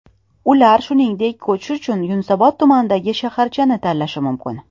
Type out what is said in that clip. Ular, shuningdek, ko‘chish uchun Yunusobod tumanidagi shaharchani tanlashi mumkin.